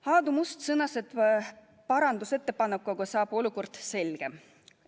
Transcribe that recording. Aadu Must sõnas, et parandusettepaneku abil muutub olukord selgemaks.